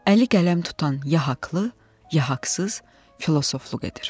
Əli qələm tutan ya haqlı, ya haqsız, filofluq edir.